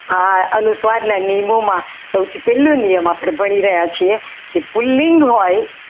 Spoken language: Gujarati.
હા અનુસ્વારના નિયમોમાં સૌથી પહેલો નિયમ આપણે ભણી રહ્યા છીએ કે પુલ્લિંગ હોય